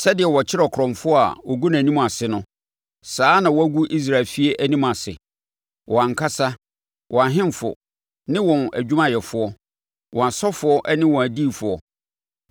“Sɛdeɛ wɔkyere ɔkorɔmfoɔ a wɔgu nʼanim ase no, saa na wɔagu Israel efie anim ase, wɔn ankasa, wɔn ahemfo ne wɔn adwumayɛfoɔ, wɔn asɔfoɔ ne wɔn adiyifoɔ.